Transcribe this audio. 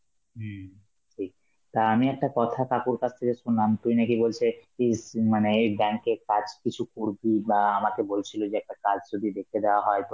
হম ঠিক, তা আমি একটা কথা কাকুর কাছ থেকে শুনলাম, তুই নাকি ছেলে পিজ~ মানে এই bank এর কাজ কিছু করবি বা আ আমাকে বলছিল যে একটা কাজ যদি দেখে দেওয়া হয়